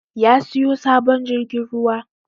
Ya siyo sabon jirgin ruwa